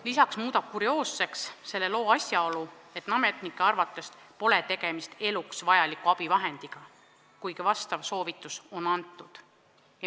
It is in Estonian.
Lisaks muudab selle loo kurioosseks asjaolu, et ametnike arvates pole tegemist eluks vajaliku abivahendiga, kuigi vastav soovitus on antud.